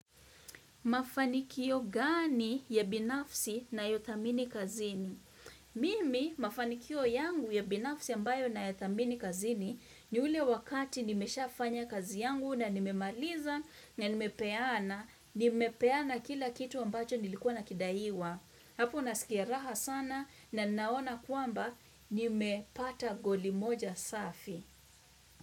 Mafanikio gani ya binafsi nayothamini kazini? Mimi mafanikio yangu ya binafsi ambayo nayathamini kazini ni ule wakati nimeshafanya kazi yangu na nimemaliza na nimepeana. Nimepeana kila kitu ambacho nilikuwa nakidaiwa. Hapo nasikia raha sana na naona kwamba nimepata goli moja safi.